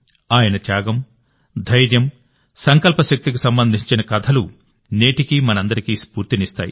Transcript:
ఆయన త్యాగం ధైర్యం సంకల్ప శక్తికి సంబంధించిన కథలు నేటికీ మనందరికీ స్ఫూర్తినిస్తాయి